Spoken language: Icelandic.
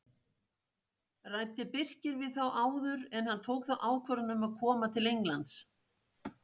Ræddi Birkir við þá áður en hann tók ákvörðun um að koma til Englands?